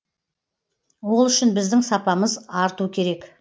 ол үшін біздің сапамыз арту керек